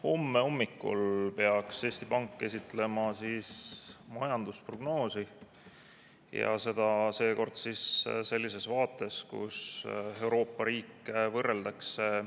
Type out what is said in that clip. Homme hommikul peaks Eesti Pank esitlema majandusprognoosi ja seda seekord sellises vaates, kus Euroopa riike võrreldakse.